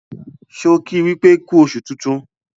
ṣe ki wípé ku oṣù tintun?